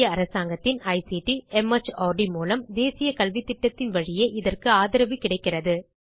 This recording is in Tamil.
இந்திய அரசாங்கத்தின் ஐசிடி மார்ட் மூலம் தேசிய கல்வித்திட்டத்தின் வழியே இதற்கு கிடைக்கிறது